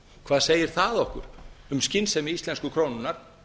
hvað segir það okkur um skynsemi íslensku krónunnar